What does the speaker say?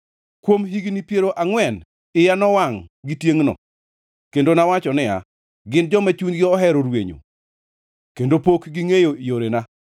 Kuom higni piero angʼwen iya nowangʼ gi tiengʼno; kendo nawacho niya, “Gin joma chunygi ohero rwenyo, kendo pok gingʼeyo yorena.”